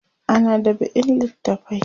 ana dab'in littafai